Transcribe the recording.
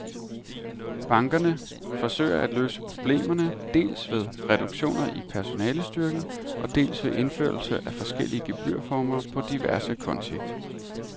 Bankerne forsøger at løse problemerne, dels ved reduktioner i personalestyrken og dels ved indførelse af forskellige gebyrformer på diverse konti.